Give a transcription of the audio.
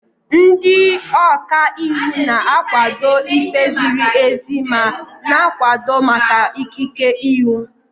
Ndị ọka iwu na-akwado ikpe ziri ezi ma na-akwado maka ikike iwu.